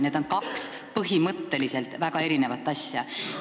Need on kaks põhimõtteliselt väga erinevat asja.